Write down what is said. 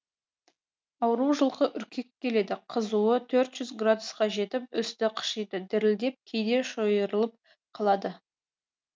ауру жылқы үркек келеді қызуы төрт жүз градусқа жетіп үсті қышиды дірілдеп кейде шойырылып қалады